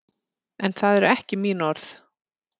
En það eru ekki mín orð.